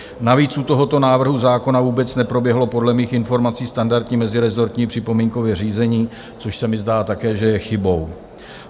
Navíc u tohoto návrhu zákona vůbec neproběhlo podle mých informací standardní mezirezortní připomínkové řízení, což se mi zdá také, že je chybou.